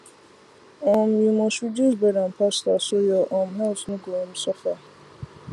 um you must reduce bread and pasta so your um health no go um suffer